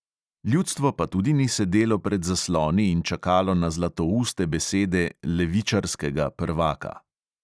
Ljudstvo pa tudi ni sedelo pred zasloni in čakalo na zlatouste besede "levičarskega" prvaka.